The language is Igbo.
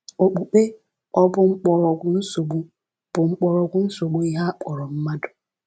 Okpukpe ọ̀ Bụ Mkpọrọgwụ Nsogbu Bụ Mkpọrọgwụ Nsogbu Ihe A Kpọrọ Mmadụ?